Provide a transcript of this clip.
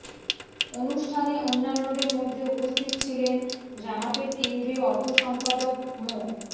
অনুষ্ঠানে অন্যান্যদের মধ্যে উপস্থিত ছিলেন জামাতের কেন্দ্রীয় অর্থ সম্পাদক মো